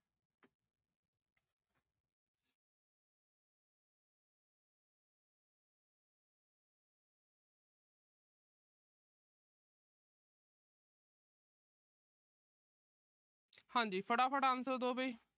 ਹਾਂ ਜੀ। ਫਟਾਫਟ answer ਦੋ ਵੀ।